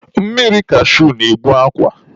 Mmiri kashui na-egbu akwa.